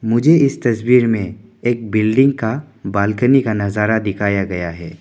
मुझे इस तस्वीर में एक बिल्डिंग का बालकनी का नजारा दिखाया गया है।